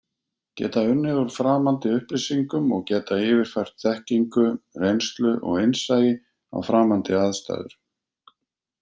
Geta unnið úr framandi upplýsingum og geta yfirfært þekkingu, reynslu og innsæi á framandi aðstæður.